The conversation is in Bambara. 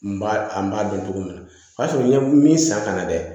N b'a n b'a dun cogo min na o y'a sɔrɔ n ye min san ka na dɛ